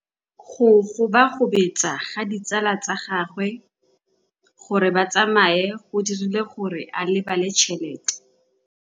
Go gobagobetsa ga ditsala tsa gagwe, gore ba tsamaye go dirile gore a lebale tšhelete.